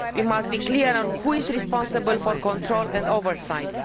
We must be clear on who is responsible for control and oversight.